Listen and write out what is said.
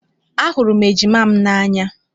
Ahụrụ m ejima m n'anya